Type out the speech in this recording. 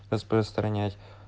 распространять